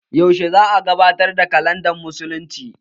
Yaushe za'a gabatar da kalandar musulunci?